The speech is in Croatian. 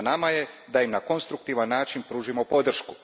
Na nama je da im na konstruktivan način pružimo podršku.